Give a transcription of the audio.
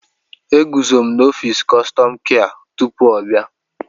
Eguzo m n'ọfịs kọstọma kịa tupu ọ bịa.